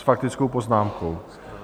S faktickou poznámkou?